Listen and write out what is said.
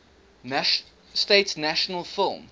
states national film